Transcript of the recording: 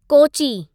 Kochi